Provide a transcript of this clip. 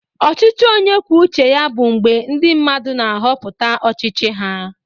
Ọchịchị onye kwuo uche ya bụ mgbe ndị mmadụ na-ahọpụta ọchịchị ha.